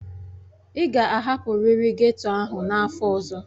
Ị ga-ahapụrịrị ghetto ahụ n'afọ ọzọ!